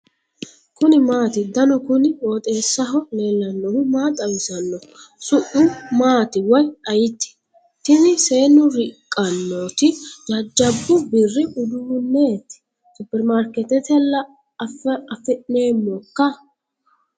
kuni maati ? danu kuni qooxeessaho leellannohu maa xawisanno su'mu maati woy ayeti ? tini seennu riqqannoti jajjabbu birri uduunneti superimarkeetetella afamanohoikka ?